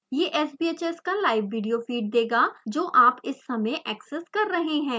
यह sbhs का live video feed देगा जो आप इस समय एक्सेस कर रहे हैं